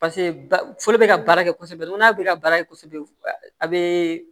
foro be ka baara kɛ kosɛbɛ nko n'a bɛ ka baara kɛ kosɛbɛ a be